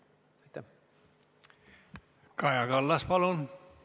Kaja Kallas, palun!